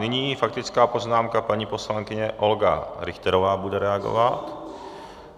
Nyní faktická poznámka, paní poslankyně Olga Richterová bude reagovat.